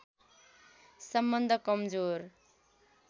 सम्बन्ध कमजोर